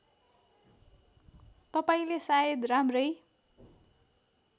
तपाईँले सायद राम्रै